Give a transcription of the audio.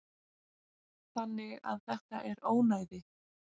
Þannig að þetta er ónæði.